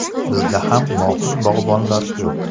Bizda ham mohir bog‘bonlar ko‘p.